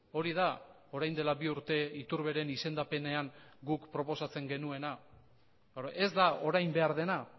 hori da orain dela bi urte iturberen izendapenean guk proposatzen genuena ez da orain behar dena